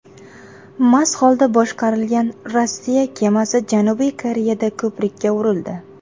Mast holda boshqarilgan Rossiya kemasi Janubiy Koreyada ko‘prikka urildi .